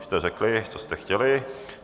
Už jste řekli, co jste chtěli.